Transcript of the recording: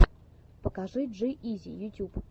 покажи джи изи ютюб